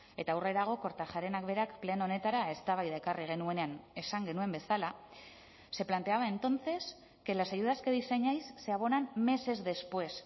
eta aurrerago kortajarenak berak pleno honetara eztabaida ekarri genuenean esan genuen bezala se planteaba entonces que las ayudas que diseñáis se abonan meses después